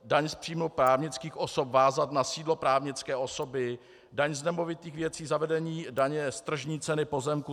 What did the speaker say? Daň z příjmu právnických osob vázat na sídlo právnické osoby, daň z nemovitých věcí, zavedení daně z tržní ceny pozemku.